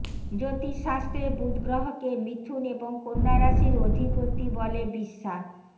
জ্যোতিষশাস্ত্রে বুধ গ্রহকে মিথুন এবং কন্যা রাশির অধিপতি বলে বিশ্বা